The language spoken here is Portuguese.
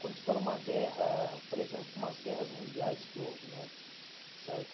Quando estoura uma guerra, por exemplo, umas guerras mundiais que houve né, certo?